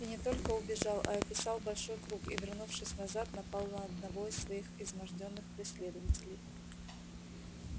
и не только убежал а описал большой круг и вернувшись назад напал на одного из своих измождённых преследователей